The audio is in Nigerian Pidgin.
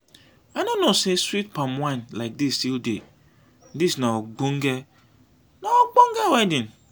i no know say sweet palm wine like dis still dey. dis na ogbonge na ogbonge wedding.